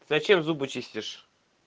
зачем зубы чистишь